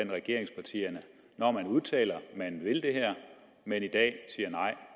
regeringspartierne når man udtaler at man vil det her men i dag siger nej